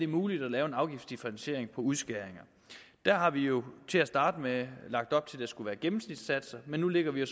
muligt at lave en afgiftsdifferentiering på udskæringer der har vi jo til at starte med lagt op til at det skulle være gennemsnitssatser men nu lægger vi